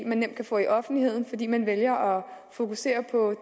man nemt kan få i offentligheden fordi man vælger at fokusere på